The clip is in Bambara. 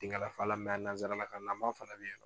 Denkalafalan a nansarakannama fana bɛ yennɔ.